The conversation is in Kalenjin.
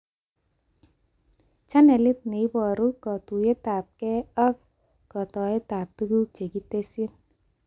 Channelit neiboru katuyetabkee ak kotoetab tuguk chekitesyi